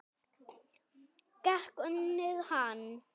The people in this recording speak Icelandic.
Get ég unnið hann?